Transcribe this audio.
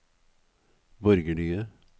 borgerlige